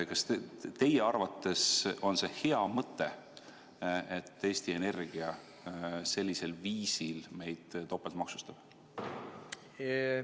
Kas teie arvates on see hea mõte, et Eesti Energia sellisel viisil meid topeltmaksustab?